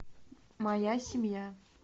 моя семья